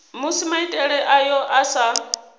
musi maitele ayo a sa